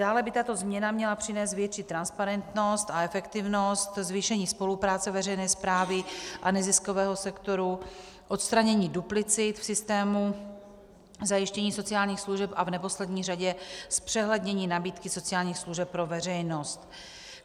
Dále by tato změna měla přinést větší transparentnost a efektivnost, zvýšení spolupráce veřejné správy a neziskového sektoru, odstranění duplicit v systému zajištění sociálních služeb a v neposlední řadě zpřehlednění nabídky sociálních služeb pro veřejnost.